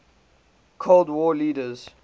cold war leaders